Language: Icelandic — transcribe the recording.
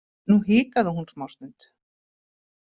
Nú hikaði hún smástund.